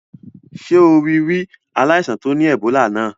Sé o rí ri aláìsàn to ni Ebola náà?